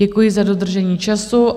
Děkuji za dodržení času.